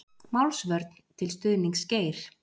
Málsvörn til stuðnings Geir